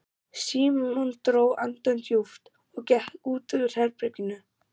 Símon dró andann djúpt og gekk út úr herberginu.